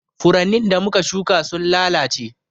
Furannin da muka shuƙa sun lalace.